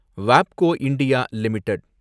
வாப்கோ India limited